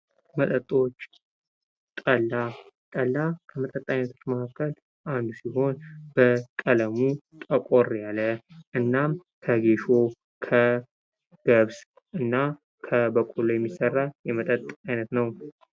መጠጦች ፡-ጠላ ከመጠጥ አይነቶች አንዱ ሲሆን በቀለሙ ጥቁር የሆነ እና ከጌሾ፣ ከገብስ እና በቆሎ የሚዘጋጅ የመጠጥ አይነት ነው ።